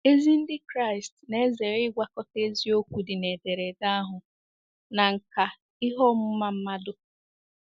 Ezi Ndị Kraịst na-ezere ịgwakọta eziokwu dị na ederede na nkà ihe ọmụma mmadụ.